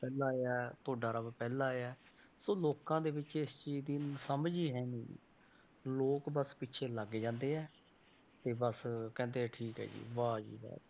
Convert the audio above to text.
ਪਹਿਲਾਂ ਆਇਆ ਤੁਹਾਡਾ ਰੱਬ ਪਹਿਲਾਂ ਆਇਆ ਸੋ ਲੋਕਾਂ ਦੇ ਵਿੱਚ ਇਸ ਚੀਜ਼ ਦੀ ਸਮਝ ਹੀ ਹੈਨੀ ਗੀ, ਲੋਕ ਬਸ ਪਿੱਛੇ ਲੱਗ ਜਾਂਦੇ ਹੈ ਤੇ ਬਸ ਕਹਿੰਦੇ ਠੀਕ ਹੈ ਜੀ ਵਾਹ ਜੀ ਵਾਹ,